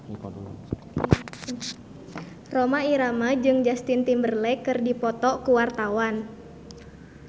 Rhoma Irama jeung Justin Timberlake keur dipoto ku wartawan